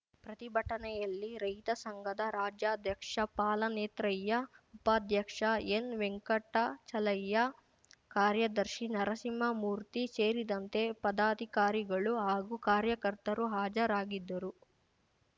ಪ್ರತಿಭಟನೆಯಲ್ಲಿ ರೈತ ಸಂಘದ ರಾಜ್ಯಾಧ್ಯಕ್ಷ ಪಾಲನೇತ್ರಯ್ಯ ಉಪಾಧ್ಯಕ್ಷ ಎನ್ ವೆಂಕಟಚಲಯ್ಯ ಕಾರ್ಯದರ್ಶಿ ನರಸಿಂಹಮೂರ್ತಿ ಸೇರಿದಂತೆ ಪದಾಧಿಕಾರಿಗಳು ಹಾಗೂ ಕಾರ್ಯಕರ್ತರು ಹಾಜರಾಗಿದ್ದರು